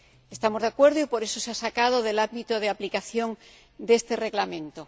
Estamos de acuerdo y por eso se ha sacado del ámbito de aplicación de ese reglamento.